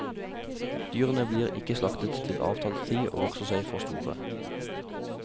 Dyrene blir ikke slaktet til avtalt tid, og vokser seg for store.